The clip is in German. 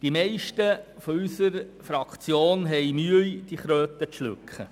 Die meisten von unserer Fraktion haben Mühe, diese Kröte zu schlucken.